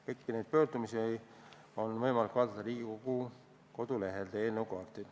Kõiki neid pöördumisi on võimalik vaadata Riigikogu kodulehelt.